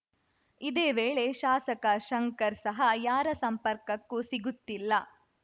ಇದೇವೇಳೆ ಶಾಸಕ ಶಂಕರ್‌ ಸಹ ಯಾರ ಸಂಪರ್ಕಕ್ಕೂ ಸಿಗುತ್ತಿಲ್ಲ